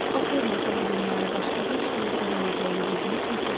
O sevməsə bu dünyada başqa heç kimin sevməyəcəyini bildiyi üçün sevirdi.